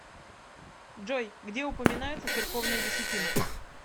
джой где упоминается церковная десятина